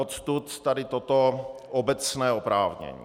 Odtud tady toto obecné oprávnění.